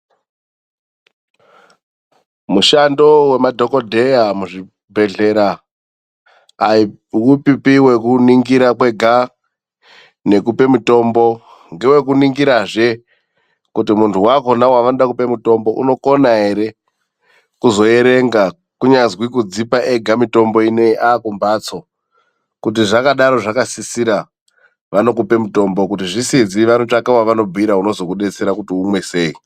Mushando wemadhokodheya muzvibhedhlera aiupipi wekuningira kwega nekupe mutombo. Ngewekuningiraze kuti muntu wakhona wevanode kupe mutombo unokona ere kuzoerenga, kunyazwi kudzipa ega mitombo inei aakumbatso. Kuti zvakadaro zvakasisira vanokupe mutombo, kuti zvisizi vanotsvaka wevanobhuira unozokudetsera kuti umwe sei.